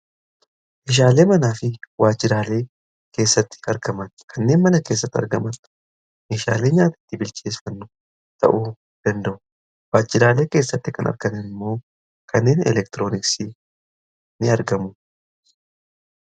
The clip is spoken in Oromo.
meeshaalee manaa fi waajjiraalee keessatti argaman kanneen mana keessatti argamantu meeshaalee nyaatatti bilcheefannu ta'uu danda'u waajjiraalee keessatti kan argaman immoo kanneen elektirooniksii ni argamu.